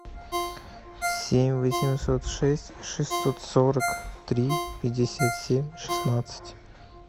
семь восемьсот шесть шестьсот сорок три пятьдесят семь шестнадцать